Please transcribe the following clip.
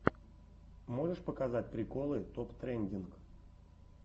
можешь показать приколы топ трендинг